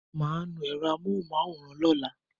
Màá nu ẹ̀ro àmóhùn-máwòrán lọ́la